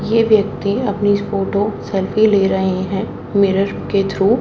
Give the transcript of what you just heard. ये व्यक्ति अपनी फोटो सेल्फी ले रहे हैं मिरर के थ्रू --